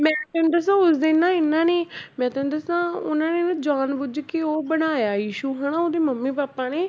ਮੈਂ ਤੈਨੂੰ ਦੱਸਾਂ ਉਸ ਦਿਨ ਨਾ ਇਹਨਾਂ ਨੇ ਹੀ ਮੈਂ ਤੈਨੂੰ ਦੱਸਾਂ ਉਹਨਾਂ ਨੇ ਨਾ ਜਾਣ ਬੁੱਝ ਕੇ ਉਹ ਬਣਾਇਆ issue ਹਨਾ ਉਹਦੀ ਮੰਮੀ ਪਾਪਾ ਨੇ